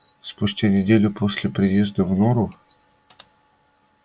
спустя неделю после приезда в нору